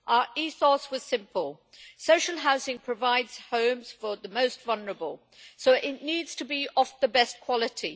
Our ethos was simple social housing provides homes for the most vulnerable so it needs to be of the best quality.